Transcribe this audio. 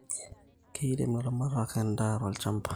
Keirem ilaramatak edaa tolchamba